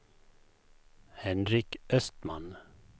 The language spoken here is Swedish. Henrik Östman